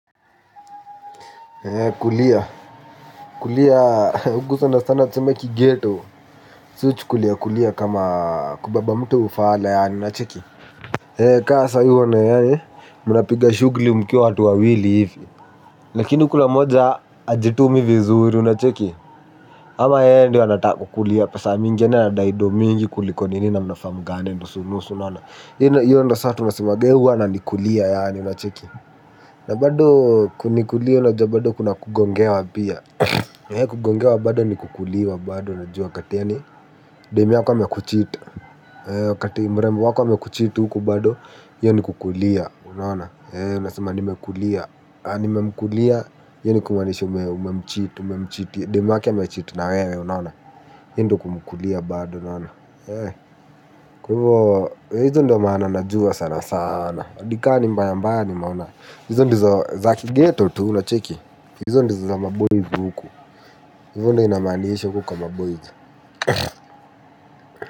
Kulia. Kulia. Huku sana sana tuseme kighetto. Si hucukulia kulia kama kubeba mtu ufala yaani unacheki. Kaa saa hii unaona yaani. Mnapiga shughuli mkiwa watu wawili hivi. Lakini kuna mmoja hajitumi vizuri unacheki. Ama yeye ndio anataka kukulia pesa mingi yaani anadai ndo mingi kuliko nini na mnafaa mgawane nusu nusu unaona. Iyo ndio saa tunasemanga huyu ananikulia yaani unacheki. Na bado kunikulia unajua bado kuna kugongewa pia. Kugongewa bado ni kukuliwa bado unajua wakati yaani, dem yako ame kucheat. Wakati mrembo wako ame kucheat huku bado hiyo ni kukulia. Unaona, unasema nimekulia. Nimemkulia hiyo ni kumaanisha. Dem yake ame cheat na wewe. Unaona. Hiyo ndio kumkulia bado. Unaona. Kwa hivyo hizo ndizo maana najua sana sana adi kaa ni mbaya mbaya nimeona. Hizo ndizo za kighetto unacheki, hizo ndizo za ma boys huku. Hivo ndo inamaanisha huku kwa maboys.